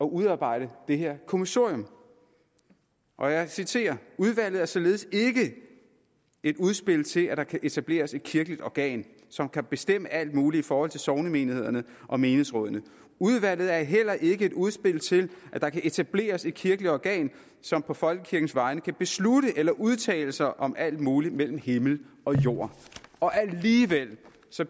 udarbejde det her kommissorium og jeg citerer udvalget er således ikke et udspil til at der kan etableres et kirkeligt organ som kan bestemme alt muligt i forhold til sognemenighederne og menighedsrådene udvalget er heller ikke et udspil til at der kan etableres et kirkeligt organ som på folkekirkens vegne kan beslutte eller udtale sig om alt muligt mellem himmel og jord alligevel